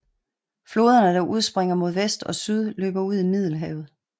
Floderne der udspringer mod vest og syd løber ud i Middelhavet